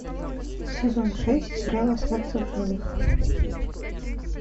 сезон шесть сериал остаться в живых